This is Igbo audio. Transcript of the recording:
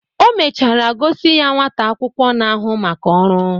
O mechara gosi ya nwata akwụkwọ na-ahụ maka ọrụ